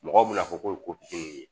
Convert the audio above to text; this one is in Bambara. Mɔgɔw bɛna fɔ k'o ye ye